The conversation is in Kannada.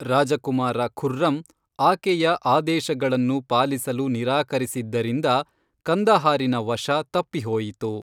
ರಾಜಕುಮಾರ ಖುರ್ರಂ ಆಕೆಯ ಆದೇಶಗಳನ್ನು ಪಾಲಿಸಲು ನಿರಾಕರಿಸಿದ್ದರಿಂದ ಕಂದಹಾರಿನ ವಶ ತಪ್ಪಿಹೋಯಿತು.